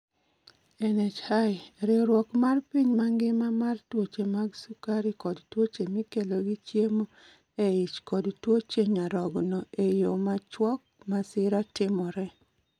NIH: Riwruok mar piny mangima mar tuoche mag sukari kod tuoche mikelo gi chiemo e ich kod tuoche nyarogno e yo machuok : Masira timore.